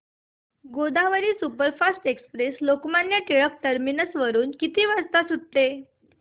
Godavari superfast express Lokmanya Tilak terminus वरून किती वाजता सुटते